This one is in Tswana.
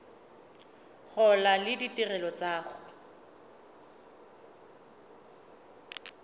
gola le ditirelo tsa go